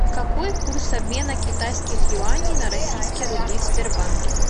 какой курс обмена китайских юаней на российские рубли в сбербанке